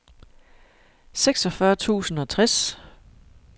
seksogfyrre tusind og tres